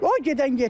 O gedən getdilər.